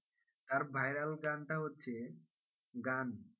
তার viral গানটা হচ্ছে গান,